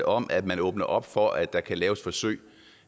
om at man åbner op for at der kan laves forsøg